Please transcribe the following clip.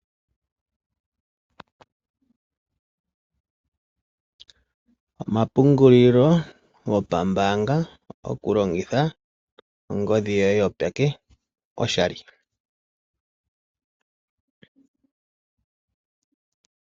Omapungulilo gopambaanga oku longitha ongodhi yoye yopeke oshali.